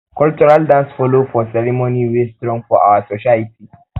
cultural dance follow for ceremony wey strong for our society